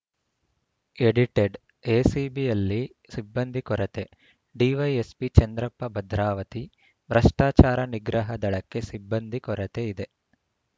edited ಎಸಿಬಿಯಲ್ಲಿ ಸಿಬ್ಬಂದಿ ಕೊರತೆ ಡಿವೈಎಸ್ಪಿ ಚಂದ್ರಪ್ಪ ಭದ್ರಾವತಿ ಭ್ರಷ್ಟಾಚಾರ ನಿಗ್ರಹ ದಳಕ್ಕೆ ಸಿಬ್ಬಂದಿ ಕೊರತೆ ಇದೆ